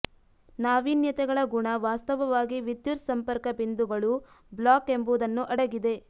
ನಾವೀನ್ಯತೆಗಳ ಗುಣ ವಾಸ್ತವವಾಗಿ ವಿದ್ಯುತ್ ಸಂಪರ್ಕ ಬಿಂದುಗಳು ಬ್ಲಾಕ್ ಎಂಬುದನ್ನು ಅಡಗಿದೆ